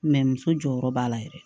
muso jɔyɔrɔ b'a la yɛrɛ